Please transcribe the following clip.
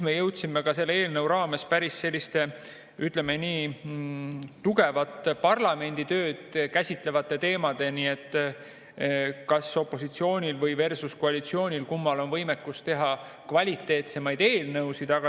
Me jõudsime selle eelnõu raames päris selliste, ütleme nii, parlamenditööd käsitlevate teemadeni, kas opositsioonil või koalitsioonil, kummal on võimekus teha kvaliteetsemaid eelnõusid.